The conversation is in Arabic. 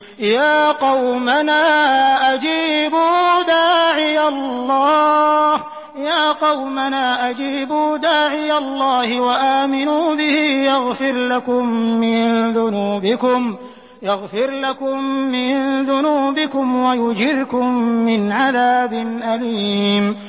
يَا قَوْمَنَا أَجِيبُوا دَاعِيَ اللَّهِ وَآمِنُوا بِهِ يَغْفِرْ لَكُم مِّن ذُنُوبِكُمْ وَيُجِرْكُم مِّنْ عَذَابٍ أَلِيمٍ